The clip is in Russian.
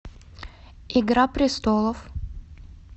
игра престолов